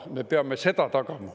Me peame seda tagama.